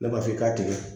Ne b'a f'i k'a tigɛ